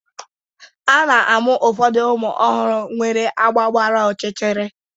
A na-amụ ụfọdụ ụmụ ọhụrụ nwere agba gbara ọchịchịrị.